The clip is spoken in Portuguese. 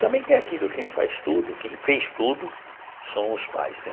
Também tem aquilo, quem faz tudo, quem fez tudo, são os pais né.